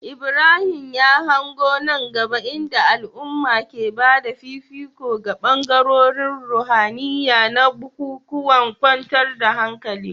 Ibrahim ya hango nan gaba inda al'umma ke ba da fifiko ga bangarorin ruhaniya na bukukuwan kwantar da hankali.